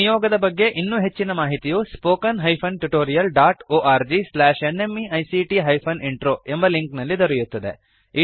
ಈ ನಿಯೋಗದ ಬಗ್ಗೆ ಇನ್ನೂ ಹೆಚ್ಚಿನ ಮಾಹಿತಿಯು spoken hyphen tutorial dot O R G slash N M E I C T hyphen intro ಎಂಬ ಲಿಂಕ್ ನಲ್ಲಿ ದೊರೆಯುತ್ತದೆ